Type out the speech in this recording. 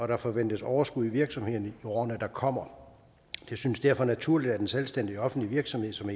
der forventes overskud i virksomheden i årene der kommer det synes derfor naturligt at en selvstændig offentlig virksomhed som